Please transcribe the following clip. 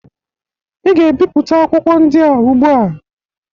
Ị ga-ebipụta akwụkwọ ndị a ugbụ a.